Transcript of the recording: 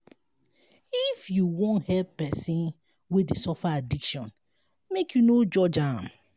if you wan help pesin wey dey suffer addiction make you no judge am.